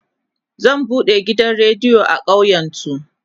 zai buɗe gidan rediyo a ƙauyen su